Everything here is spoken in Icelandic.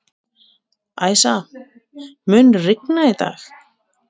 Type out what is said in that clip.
Æsa, mun rigna í dag?